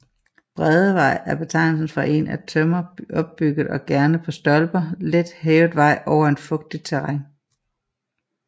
Bræddevej er betegnelsen for en af tømmer opbygget og gerne på stolper let hævet vej over et fugtigt terræn